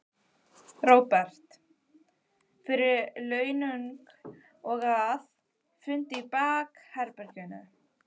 Róbert: Fyrir launung og að, fundi í bakherbergjum?